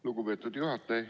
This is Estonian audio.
Lugupeetud juhataja!